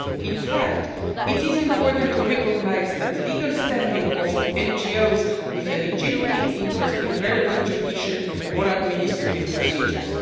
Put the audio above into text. In fact, it is important to recognise the legal standing of NGOs with a legitimate interest in the relevant judicial or administrative procedures.